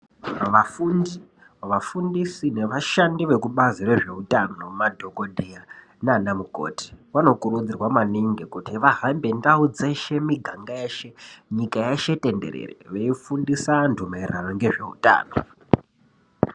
Vafundi ,vafundisi nevashandi vekubazi rezveutano ,madhokodheya naanamukoti, vanokurudzirwa maningi kuti vahambe ndau dzeshe, miganga yeshe ,nyika yeshe tenderere, veifundisa antu ngezveutano .